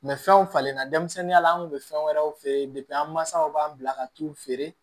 fɛnw falen na denmisɛnninya la an kun bɛ fɛn wɛrɛw f'i ye an mansaw b'an bila ka t'u feere